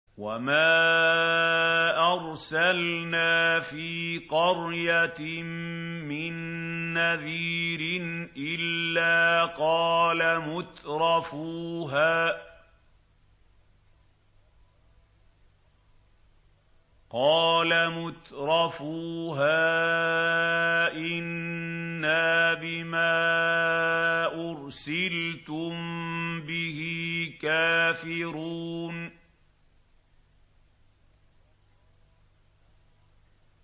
وَمَا أَرْسَلْنَا فِي قَرْيَةٍ مِّن نَّذِيرٍ إِلَّا قَالَ مُتْرَفُوهَا إِنَّا بِمَا أُرْسِلْتُم بِهِ كَافِرُونَ